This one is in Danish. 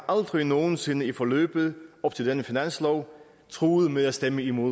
aldrig nogen sinde i forløbet op til denne finanslov truet med at stemme imod